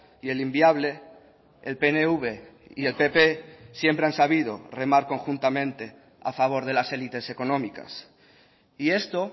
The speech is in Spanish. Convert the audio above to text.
y el inviable el pnv y el pp siempre han sabido remar conjuntamente a favor de las élites económicas y esto